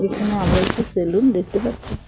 এখানে আবার একটি সেলুন দেখতে পাচ্ছি।